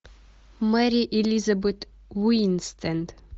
мэри элизабет уинстэд